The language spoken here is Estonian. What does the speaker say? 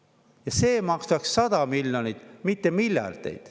Ja see maksaks 100 miljonit, mitte miljardeid.